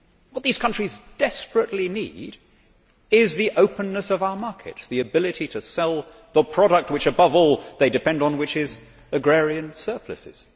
What these countries desperately need is the openness of our markets the ability to sell the products which above all they depend on, which are agrarian surpluses.